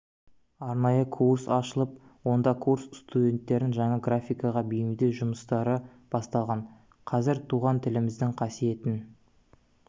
арнайы курс ашылып онда курс студенттерін жаңа графикаға бейімдеу жұмыстары басталған қазір туған тіліміздің қасиетін